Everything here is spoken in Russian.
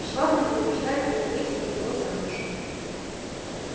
швабрин принуждает её выйти за него замуж